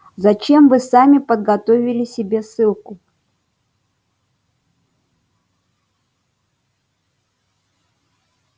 зачем вы сами подготовили себе ссылку